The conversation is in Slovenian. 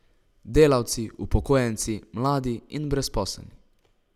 Delavci, upokojenci, mladi in brezposelni.